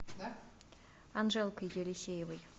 анжелкой елисеевой